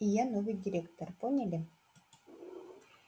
и я новый директор поняли